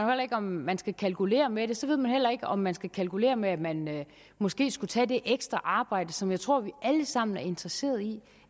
ikke om man skal kalkulere med det så ved man heller ikke om man skal kalkulere med at man måske skulle tage det ekstra arbejde som jeg tror vi alle sammen er interesseret i